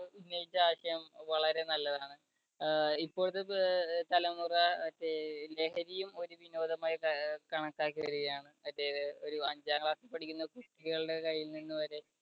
ഉന്നയിച്ച ആശയം വളരെ നല്ലതാണ്. അഹ് ഇപ്പോഴത്തെ പ് തലമുറ മറ്റേ ലഹരിയും ഒരു വിനോദമായിട്ട് കണക്കാക്കി വരികയാണ്. ഒരു അഞ്ചാം class ൽ പഠിക്കുന്ന കുട്ടികളുടെ കയ്യിൽ നിന്ന് വരെ